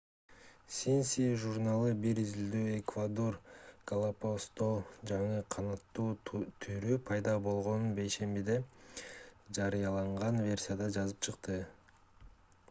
science журналы бир изилдөөдө эквадор галапагосто жаңы канаттуу түрү пайда болгонун бейшембиде жарыялаган версияда жазып чыкты